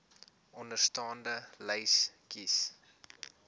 onderstaande lys kies